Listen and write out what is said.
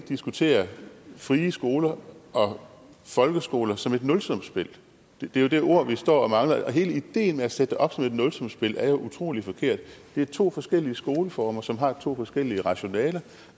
diskutere frie skoler og folkeskoler som et nulsumsspil det er jo det ord vi står og mangler og hele ideen med at sætte det op som et nulsumsspil er jo utrolig forkert det er to forskellige skoleformer som har to forskellige rationaler